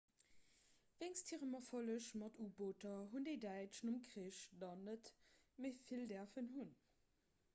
wéinst hirem erfolleg mat u-booter hunn déi däitsch nom krich der net méi vill däerfen hunn